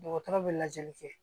Dɔgɔtɔrɔ bɛ lajɛli kɛ